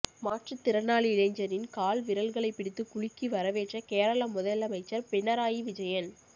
மாற்றுத்திறனாளி இளைஞரின் கால் விரல்களை பிடித்து குலுக்கி வரவேற்ற கேரள முதலமைச்சர் பினராயி விஜயன்